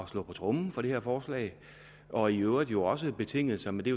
slå på tromme for det her forslag og i øvrigt jo også betingede sig men det